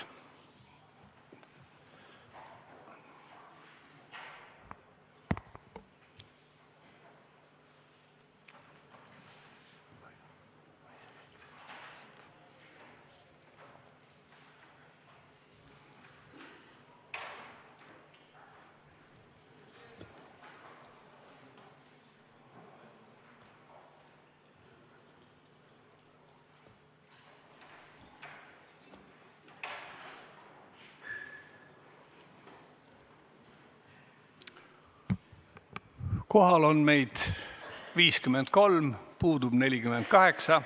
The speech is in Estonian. Kohaloleku kontroll Kohal on meid 53, puudub 48.